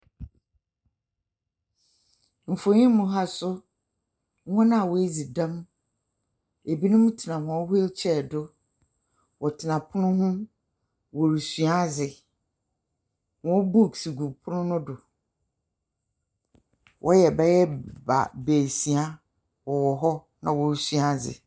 Mfonyi mu ha so wɔn a wɔadzi dɛm ebinom tsena wɔn hwiilkyɛɛ do wɔtsena pon ho wɔresua adze wɔn buks gu pono no do wɔyɛ bɛyɛ baasia wɔwɔ hɔ na wɔresua adze.